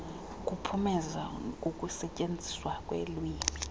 kuphumezo kukusetyenziswa kwelwimi